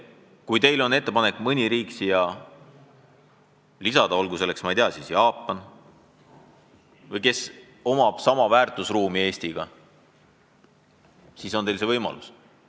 Kui teil on ettepanek mõni riik siia lisada, olgu selleks riigiks näiteks Jaapan, kellel on sama väärtusruum kui Eestil, siis teil on see võimalus.